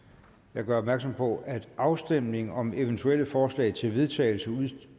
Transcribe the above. jeg gør opmærksom på at afstemning om eventuelle forslag til vedtagelse